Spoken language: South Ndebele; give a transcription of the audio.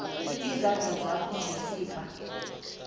izandla zakho ngesibha